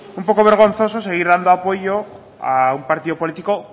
un poco vergonzoso seguir dando apoyo a un partido político